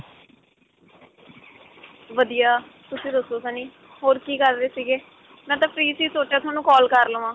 ਵਧੀਆ. ਤੁਸੀ ਦੱਸੋ ਸੰਨੀ? ਹੋਰ ਕੀ ਕਰ ਰਹੇ ਸੀਗੇ? ਮੈਂ ਤਾਂ free ਸੀ ਸੋਚਿਆ ਤੁਹਾਨੂੰ call ਕਰ ਲਵਾਂ.